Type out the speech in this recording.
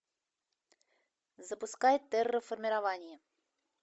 запускай терраформирование